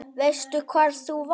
Veistu hvar þú varst?